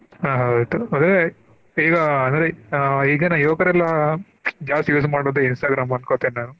ಆಹ್ ಹೌದು ಈಗಾ ಅಂದ್ರೆ ಆಹ್ ಈಗಿನ ಯುವಕರೆಲ್ಲಾ ಜಾಸ್ತಿ use ಮಾಡೋದು Instagram ಅನ್ಕೋತೇನ ನಾನು.